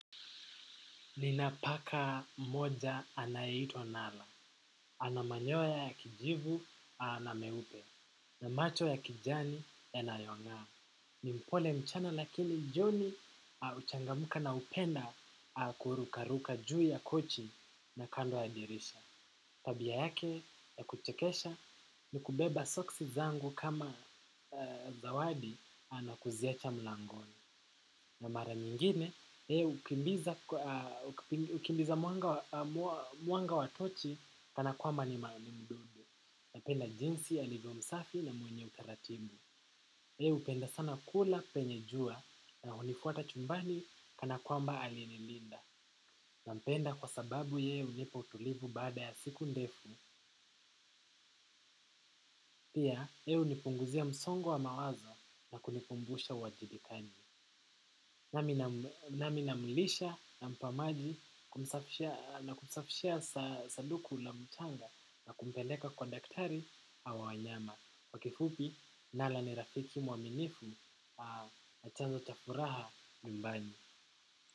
Nina paka moja anayeitwa Nala, anamanyoya ya kijivu na meupe, na macho ya kijani yanayong'aa. Ni mpole mchana lakini joni huchangamka na hupenda kurukaruka juu ya kochi na kando ya dirisha. Tabia yake ya kuchekesha ni kubeba soksi zangu kama zawadi na kuziacha mlangoni. Na mara nyingine, yeye hukimbiza mwanga watochi kana kwamba ni napenda jinsi alivyo msafi na mwenye utaratibu. Yeye hupenda sana kula kwenye jua na hunifuata chumbani kana kwamba alinilinda. Nampenda kwa sababu yeye hunipa utulivu baada ya siku ndefu. Pia, yeye humipunguzia msongo wa mawazo na kunikumbusha uwajibikaji. Nami namlisha, nampa maji na kumsafishia sanduku la mchanga na kumpeleka kwa daktari wa wanyama. Kwa kifupi, Nala ni rafiki mwaminifu na chanzo cha furaha nyumbani.